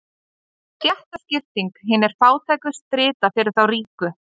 Stéttaskipting: Hinir fátæku strita fyrir þá ríku.